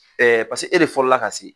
Ɛɛ pase e de fɔlɔ la ka se